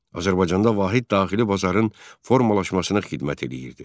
Azərbaycanda vahid daxili bazarın formalaşmasına xidmət edirdi.